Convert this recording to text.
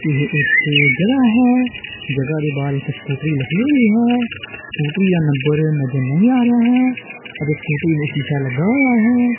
ਇਹ ਇੱਕ ਜਗਹਾ ਹੈ ਜਗਹਾ ਦੇ ਬਾਹਰ ਇੱਕ ਸਕੂਟਰੀ ਲੱਗੀ ਹੋਈ ਹੈ ਸਕੂਟਰੀ ਜਾਂ ਨੰਬਰ ਨਜ਼ਰ ਨਹੀਂ ਆ ਰਿਹਾ ਹੈ ਅਤੇ ਸਕੂਟਰੀ ਨੂੰ ਸ਼ੀਸ਼ਾ ਲੱਗਾ ਹੋਇਆ ਹੈ।